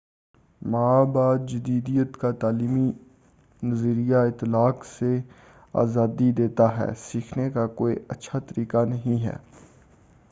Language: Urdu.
ما بعد جدیدیت کا تعلیمی نظریہ اطلاق سے آزادی دیتا ہے سیکھنے کا کوئی اچھا طریقہ نہیں ہے